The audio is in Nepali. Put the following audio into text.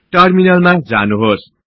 टर्मिनलमा जानुहोस्